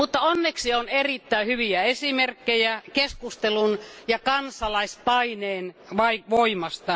Onneksi on erittäin hyviä esimerkkejä keskustelun ja kansalaispaineen voimasta.